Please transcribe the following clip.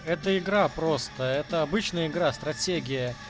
эта игра просто это обычная игра стратегия